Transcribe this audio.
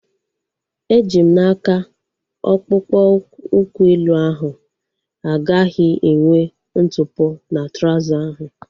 Eji m n'aka, akpụkpọ ụkwụ elu ahu agaghị enwe ntụpọ na trauza ahu